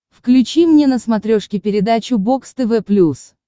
включи мне на смотрешке передачу бокс тв плюс